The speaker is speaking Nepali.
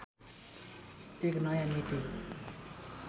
एक नयाँ नीति